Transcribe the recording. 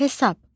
Hesab.